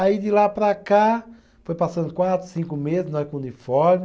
Aí, de lá para cá, foi passando quatro, cinco meses, nós com o uniforme.